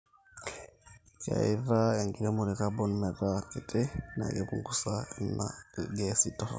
keitaa enkiromore carbon meeta kiti na keipunguza ina ilgeesi torok